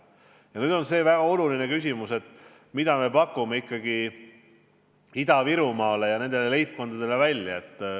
Ja nüüd on see väga oluline küsimus, mida me pakume ikkagi Ida-Virumaa leibkondadele välja.